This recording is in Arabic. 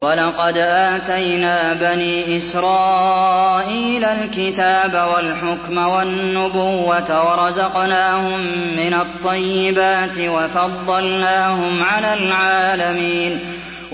وَلَقَدْ آتَيْنَا بَنِي إِسْرَائِيلَ الْكِتَابَ وَالْحُكْمَ وَالنُّبُوَّةَ وَرَزَقْنَاهُم مِّنَ الطَّيِّبَاتِ وَفَضَّلْنَاهُمْ عَلَى الْعَالَمِينَ